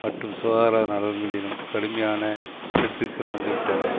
மற்றும் சுகாதார நலன்களிலும் கடுமையான வெட்டுக்கள் வந்துவிட்டன